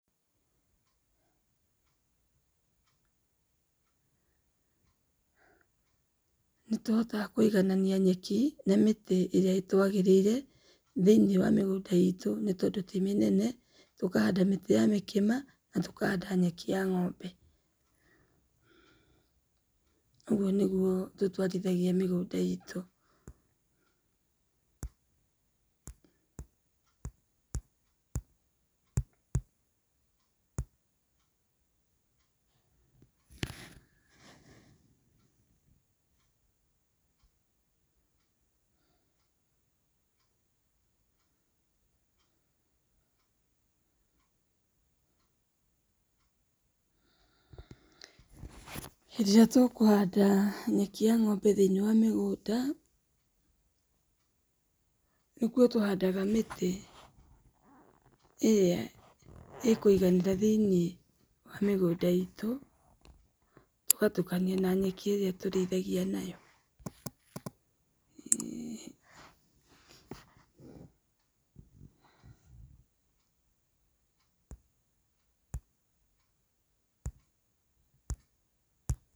Nĩtũhotaga kũiganania nyeki na mĩtĩ ĩrĩa ĩtũagĩrĩire thĩ-inĩ wa mĩgũnda itũ nĩ tondũ ti mĩnene. Tũkahanda mĩtĩ ya mĩkĩma natũkahanda nyeki ya ng'ombe. Ũguo nĩguo tũtwarithagia mĩgũnda itũ. Hĩndĩ ĩrĩa tũkũhanda nyeki ya ng'ombe thĩ-inĩ wa mĩgũnda, nĩkuo tũhandaga mĩtĩ ĩrĩa ĩkũiganĩra thĩ-inĩ wa mĩgũnda itũ. Tũgatukania na nyeki irĩa tũrĩithagia na yo.